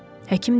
Həkim dedi: